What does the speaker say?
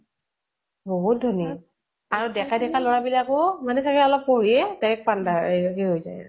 বহুত ধনী। আৰু ডেকা ডেকা লʼৰা বিলাকো মানে চাগে অলপ পঢ়িয়ে direct পান্ডা এ উ হৈ যায় ।